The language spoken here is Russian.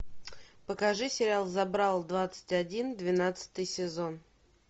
покажи сериал забрал двадцать один двенадцатый сезон